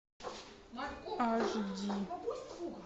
аш ди